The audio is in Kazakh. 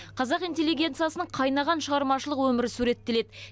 қазақ интеллигенциясының қайнаған шығармашылық өмірі суреттеледі